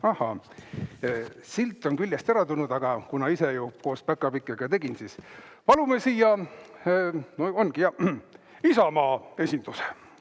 Ahaa, silt on küljest ära tulnud, aga kuna ma ise ju koos päkapikkudega pakid tegin, siis palun siia Isamaa esinduse.